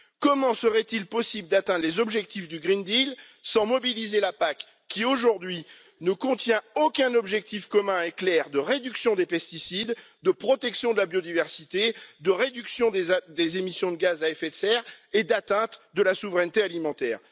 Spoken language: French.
Comment serait il possible d'atteindre les objectifs du pacte vert sans mobiliser la PAC qui, aujourd'hui, ne contient aucun objectif commun et clair de réduction des pesticides, de protection de la biodiversité, de réduction des émissions de gaz à effet de serre et de réalisation de la souveraineté alimentaire?